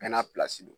Bɛɛ n'a don